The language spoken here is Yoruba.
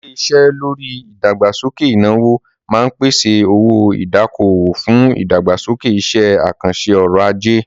Ilé-iṣé lórí ìdàgbàsókè ìnáwó máa ń pèsè owó-ìdákòwò fún ìdàgbàsókè iṣẹ́-àkànṣe ọrọ̀-ajé.